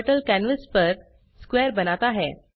turtle canvas पर square बनाता है